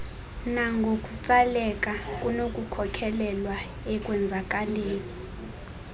nangokutsaleka kunokukhokelela ekwenzakaleni